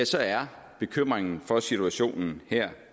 så er bekymringen for situationen